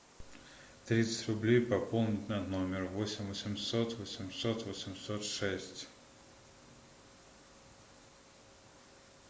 тридцать рублей пополнить на номер восемь восемьсот восемьсот восемьсот шесть